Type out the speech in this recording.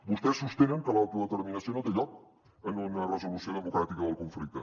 vostès sostenen que l’autodeterminació no té lloc en una resolució democràtica del conflicte